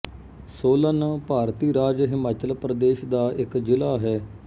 ਸੋਲਨ ਭਾਰਤੀ ਰਾਜ ਹਿਮਾਚਲ ਪ੍ਰਦੇਸ਼ ਦਾ ਇੱਕ ਜ਼ਿਲਾ ਹੈ